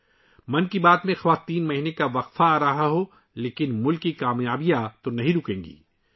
' من کی بات' بھلے ہی تین ماہ کے لیے رک جائے، لیکن ملک کی کامیابیاں تھوڑے ہی رکیں گی